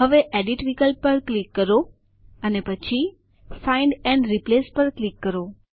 હવે એડિટ વિકલ્પ પર ક્લિક કરો અને પછી ફાઇન્ડ એન્ડ રિપ્લેસ પર ક્લિક કરો